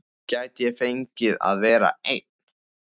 Gæti ég fengið að vera einn?